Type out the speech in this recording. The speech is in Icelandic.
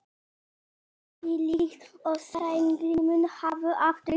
Ég gerði því líkt og Steingrímur hafði áður gert.